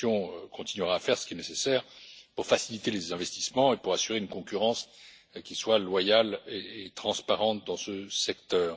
La Commission continuera à faire ce qui est nécessaire pour faciliter les investissements et pour assurer une concurrence loyale et transparente dans ce secteur.